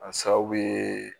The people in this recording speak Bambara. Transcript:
A sababu ye